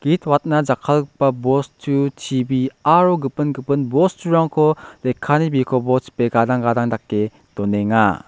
git watna jakkalgipa bostu T_B aro gipin gipin bosturangko lekkani bikopo chipe gadang gadang dake donenga.